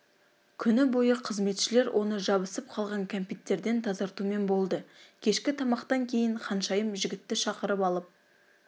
күні бойы қызметшілер оны жабысып қалған кәмпиттерден тазартумен болды кешкі тамақтан кейін ханшайым жігітті шақырып алып